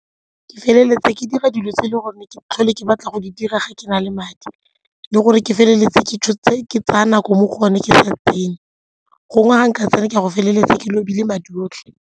Ke feleletsa ke dira dilo tse e leng gore ke tlhole ke batla go di dira ga ke na le madi le gore ke feleletse ke tsaya nako mo go one ke sa gongwe ga nka tsena ke a go feleletsa lobile madi otlhe.